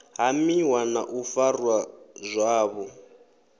hamiwa na u farwa zwavhu